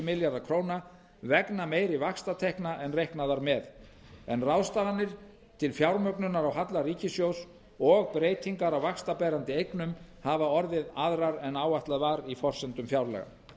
milljarðar króna vegna meiri vaxtatekna en reiknað var með en ráðstafanir til fjármögnunar á halla ríkissjóðs og breytingar á vaxtaberandi eignum hafa orðið aðrar en áætlað var í forsendum fjárlaga